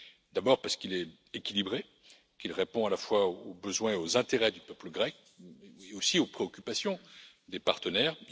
D'abord, parce qu'il est équilibré, qu'il répond à la fois aux besoins et aux intérêts du peuple grec ainsi qu'aux préoccupations des partenaires.